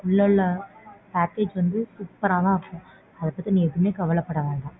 உள்ளலாம் package வந்து super ஆ தான் இருக்கும். அதபத்தி நீ எதுவுமே கவலைப்பட வேண்டாம்.